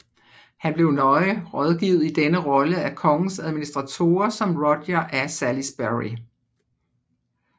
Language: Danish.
Han blev nøje rådgivet i denne rolle af kongens administratorer som Roger af Salisbury